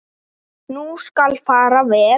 Nú skal fara vel.